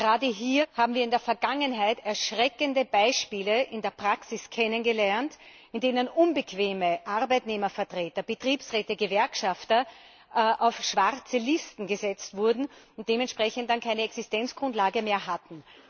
Gerade hier haben wir in der Vergangenheit erschreckende Beispiele in der Praxis kennengelernt, in denen unbequeme Arbeitnehmervertreter, Betriebsräte, Gewerkschafter auf schwarze Listen gesetzt wurden und dann keine Existenzgrundlage mehr hatten.